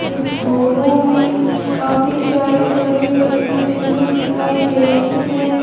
इस फोटो में काफी सारी बड़ी बड़ी मशीने दिखाई दे रही है।